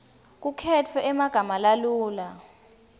kukhetfwe emagama lalula